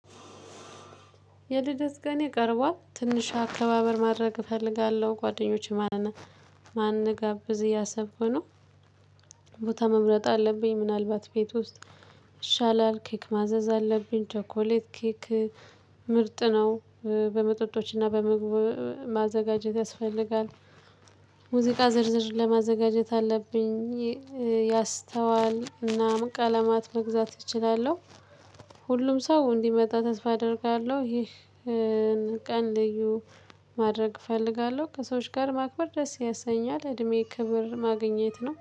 የልደት ቀኔ ቀርቧል ትንሽ አከባበር ማድረግ እፈልጋለሁ ጓደኞቼ ማንን ማን እንድጋብዝ እያሰብኩ ነው። ቦታ መምረጥ አለብኝ ምናልባት ቤት ውስጥ። ይሻላል ኬክ ማዘዝ አለብኝ ቸኮሌት ኬክ ምርጥ ነው። በመጠጦችና በምግብ ማዘጋጀት ያስፈልጋል። ሙዚቃ ዝርዝር ለማዘጋጀት አለብኝ። ያስተዋልና ቀለማት መግዛት እችላለሁ። ሁሉም ሰው እንዲመጣ ተስፋ አደርጋለሁ። ይህን ቀን ልዩ ማድረግ እፈልጋለሁ ከሰዎች ጋር ማክበር ደስ ያሰኛል። እድሜ ክብር ማግኘት ነው